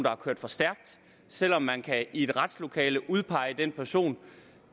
har kørt for stærkt selv om man i et retslokale kan udpege den person